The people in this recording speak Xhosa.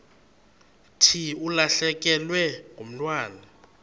thi ulahlekelwe ngumntwana